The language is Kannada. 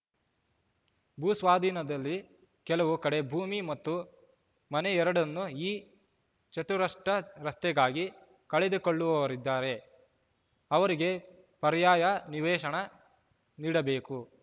ಭೂ ಸ್ವಾಧೀನದಲ್ಲಿ ಕೆಲವು ಕಡೆ ಭೂಮಿ ಮತ್ತು ಮನೆ ಎರಡನ್ನೂ ಈ ಚತ್ರುಷ್ಟ ರಸ್ತೆಗಾಗಿ ಕಳೆದುಕೊಳ್ಳುವವರಿದ್ದಾರೆ ಅವರಿಗೆ ಪರ್ಯಾಯ ನಿವೇಶನ ನೀಡಬೇಕು